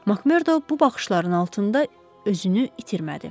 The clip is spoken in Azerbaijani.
Makmerdo bu baxışların altında özünü itirmədi.